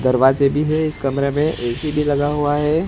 दरवाजे भी है इस कमरे में ए_सी भी लगा हुआ है।